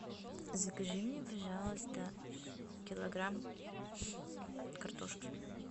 закажи мне пожалуйста килограмм картошки